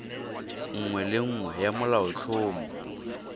nngwe le nngwe ya molaotlhomo